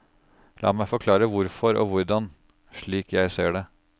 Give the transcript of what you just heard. La meg forklare hvorfor og hvordan, slik jeg ser det.